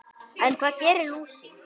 En hvað gerir lúsin?